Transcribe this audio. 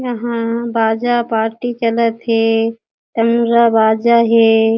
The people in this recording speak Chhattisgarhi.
यहाँ बाजा पार्टी चलत हे तमूरा बाजा हे।